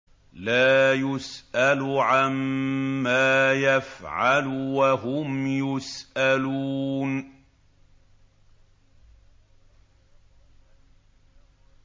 لَا يُسْأَلُ عَمَّا يَفْعَلُ وَهُمْ يُسْأَلُونَ